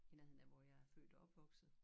I nærheden af hvor jeg er født og opvokset